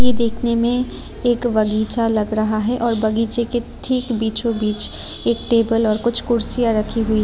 देखने में एक बगीचा लग रहा है और बगीचे के ठीक बीचो बीच एक टेबल और कुर्सियां रखीं हुई है।